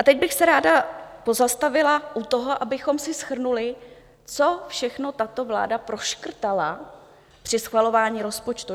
A teď bych se ráda pozastavila u toho, abychom si shrnuli, co všechno tato vláda proškrtala při schvalování rozpočtu.